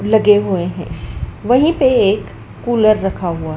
लगे हुए हैं वहीं पे एक कुलर रखा हुआ--